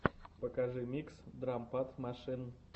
покажи микс драм пад машин